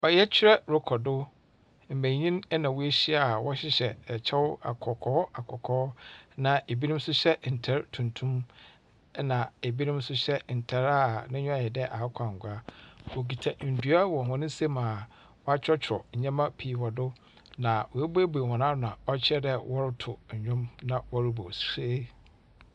Ɔyɛkyerɛ rokɔ do. Mbenyin na woehyia a wɔhyehyɛ kyɛw akɔkɔɔ akɔkɔɔ, na binom nso hyɛ ntar tuntum, na binom nso hyɛ ntar a n'enyiwa ayɛ dɛ akokɔangua. Wokita ndua wɔ hɔn nsamu a wɔakyerɛwkyerɛw ndzɛmba pii wɔ do, na woebuiebuei hɔ ano a ɔkyerɛ dɛ wɔrotow ndwom na wɔrobɔ ose.